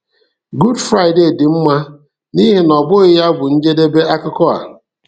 Good Friday dị mma nihi na ọ bụghị ya bụ njedebe akụkọ a.